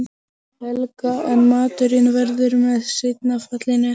Helga en maturinn verður með seinna fallinu.